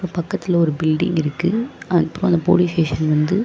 பக்கத்துல ஒரு பில்டிங் இருக்கு அந்பக்கோ அந்த போலீஸ் ஸ்டேஷன் வந்து--